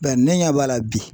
Bɛ ne ɲɛ b'a la bi.